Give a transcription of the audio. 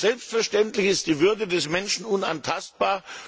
Selbstverständlich ist die Würde des Menschen unantastbar.